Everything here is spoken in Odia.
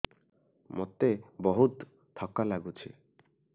ମୋତେ ବହୁତ୍ ଥକା ଲାଗୁଛି